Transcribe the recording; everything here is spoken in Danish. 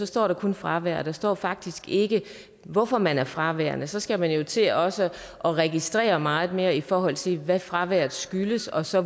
står der kun fravær der står faktisk ikke hvorfor man er fraværende så skal man jo til også at registrere meget mere i forhold til hvad fraværet skyldes og så